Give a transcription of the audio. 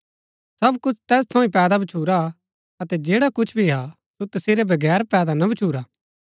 सब कुछ तैस थऊँ ही पैदा भच्छुरा अतै जैडा कुछ भी हा सो तसेरै बगैर पैदा ना भच्छुरा